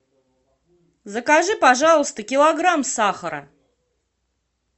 закажи пожалуйста килограмм сахара